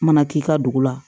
Mana k'i ka dugu la